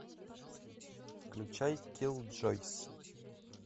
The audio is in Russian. включай киллджойс